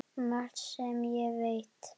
Margt sem ég veit.